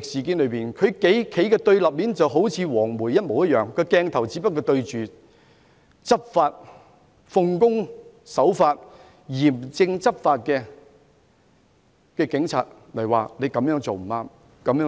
事件中，就好像"黃媒"一樣，鏡頭只對着奉公守法、嚴正執法的警員，說他們這樣做不對。